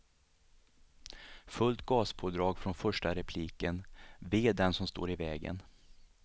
Fullt gaspådrag från första repliken, ve den som står i vägen.